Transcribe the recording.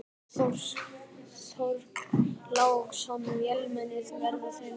Björn Þorláksson: Vélmenni, verða þau notuð?